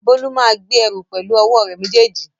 Bólú máa gbé ẹrù pẹ̀lú ọwọ́ rẹ̀ méjèèjì